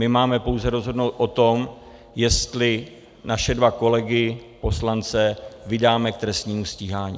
My máme pouze rozhodnout o tom, jestli naše dva kolegy poslance vydáme k trestnímu stíhání.